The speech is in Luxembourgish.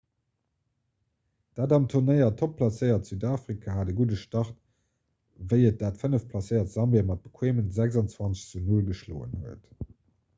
dat am turnéier topp placéiert südafrika hat e gudde start wéi et dat fënneft placéiert sambia mat bequeeme 26 zu 0 geschloen huet